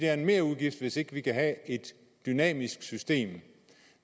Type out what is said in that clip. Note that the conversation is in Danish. er en merudgift hvis ikke vi kan have et dynamisk system